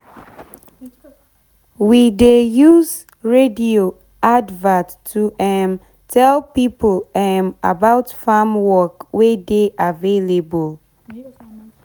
we dey use radio advert to um tell pipo um about farm work wey dey available